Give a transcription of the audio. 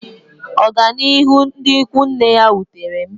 Ọganihu ndị ikwu nne ya wutere m.